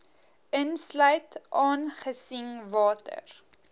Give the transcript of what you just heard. insluit aangesien water